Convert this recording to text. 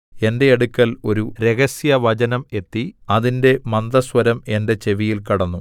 എന്റെ അടുക്കൽ ഒരു രഹസ്യവചനം എത്തി അതിന്റെ മന്ദസ്വരം എന്റെ ചെവിയിൽ കടന്നു